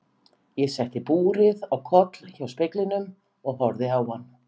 Ég setti búrið á koll hjá speglinum og horfði á hann.